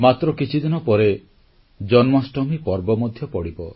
ମାତ୍ର କିଛିଦିନ ପରେ ଜନ୍ମାଷ୍ଟମୀ ପର୍ବ ମଧ୍ୟ ପଡ଼ିବ